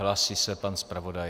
Hlásí se pan zpravodaj.